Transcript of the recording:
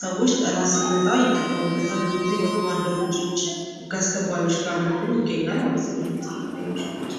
ሰዎች ጠላት ሲመጣ ይጠቀሙበታል ።ብዙ ጊዜ ወታደሮች ጋር ፣ህግ አስከባሪዎች ጋር ይገኛል ማለት ነው ።ይህ ጥይት ወይም ሽጉጥ።